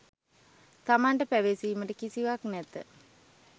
තමන්ට පැවසීමට කිසිවක් නැත